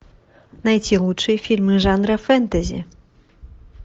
найти лучшие фильмы жанра фэнтези